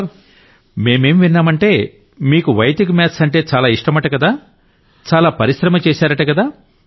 నరేంద్ర మోడీ మేమేం విన్నామంటే మీకు వైదిక్ మ్యాథ్స్ అంటే చాలా ఇష్టమట కదా చాలా పరిశ్రమ చేశారట కదా